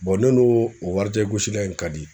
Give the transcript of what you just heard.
ne n'o o warijɛgosila in ka di